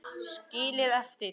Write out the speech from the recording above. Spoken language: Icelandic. Skilið eftir?